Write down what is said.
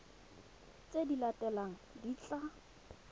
tse di latelang di tla